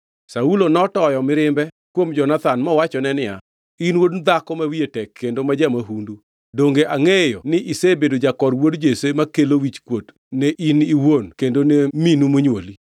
Saulo notoyo mirimbe kuom Jonathan mowachone niya, “In wuod dhako ma wiye tek kendo ma ja-mahundu! Donge angʼeyo ni isebedo jakor wuod Jesse makelo wichkuot ne in iwuon kendo ne minu monywoli?